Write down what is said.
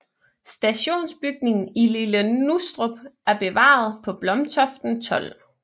Stationsbygningen i Lille Nustrup er bevaret på Blomtoften 12